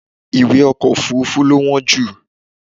ìwé Ọkọ̀ òfurufú lo wọ́n jù.